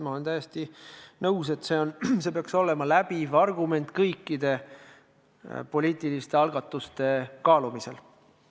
Ma olen täiesti nõus, et see peaks olema läbiv argument kõikide poliitiliste algatuste kaalumisel.